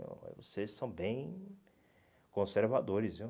eh vocês são bem conservadores, viu?